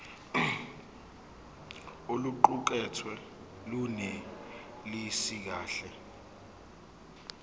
oluqukethwe lunelisi kahle